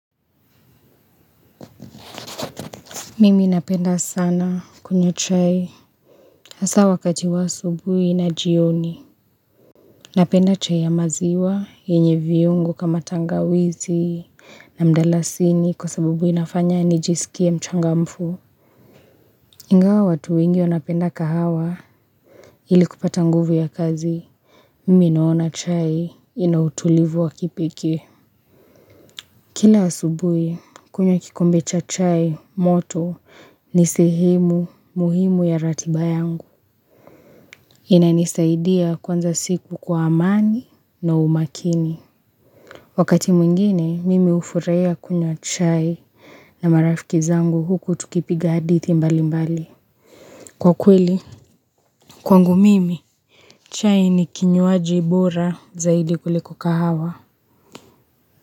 Mimi napenda sana kunywa chai hasa wakati wa asubuhi na jioni. Napenda chai ya maziwa yenye viungu kama tangawizi na mdalasini kwa sababu inafanya nijisikie mchangamfu. Ingawa watu wengi wanapenda kahawa ili kupata nguvu ya kazi. Mimi naona chai ina utulivu wa kipekee. Kila asubuhi kunywa kikombe cha chai moto ni sehemu muhimu ya ratiba yangu. Inanisaidia kuanza siku kwa amani na umakini. Wakati mwingine mimi hufurahia kunywa chai na marafiki zangu huku tukipiga hadithi mbali mbali kwa kweli. Kwangu mimi chai ni kinywaji bora zaidi kuliku kahawa.